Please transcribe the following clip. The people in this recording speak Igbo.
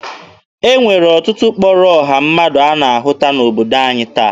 E nwere ọtụtụ ụkpụrụ ọha mmadụ a na-ahụta n'obodo anyị taa.